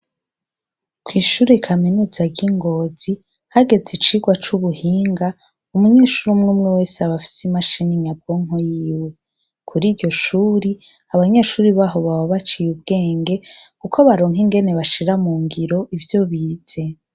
Kw'ishure kaminuza ry'Ingozi hageze icigwa c'ubuhinga umunyeshure umwumwe wese abafise imashini nyabwonko yiwe . Kuriryo shure, abanyeshure baho baba baciye ubwenge kuko baronka uko bashira mu ngiro ivyo bize .